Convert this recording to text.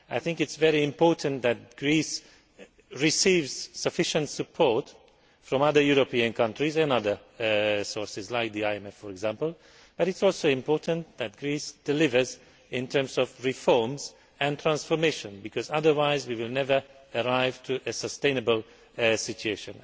I think it is very important that Greece receives sufficient support from other European countries and other sources, like the IMF for example, but it is also important that Greece delivers in terms of reforms and transformation because otherwise we will never arrive at a sustainable situation.